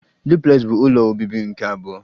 Duplex bụ ụlọ obibi nke abụọ